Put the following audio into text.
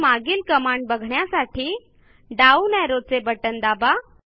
तर मागील कमांड बघण्यासाठी डाउन arrowचे बटण दाबा